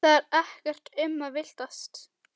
Það er ekkert um að villast.